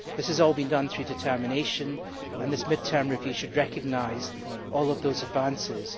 This has all been done through determination, and this mid term review should recognise all those advances.